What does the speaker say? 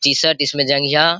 T-shirt इसमें जंघिया --